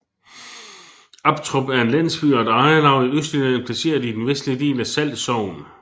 Aptrup er en landsby og et ejerlav i Østjylland placeret i den vestlige del af Sall Sogn